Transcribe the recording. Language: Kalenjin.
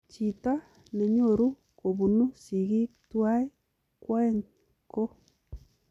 Chitoo nenyoruu kobunuu sigik tuwai kwoeng ,koo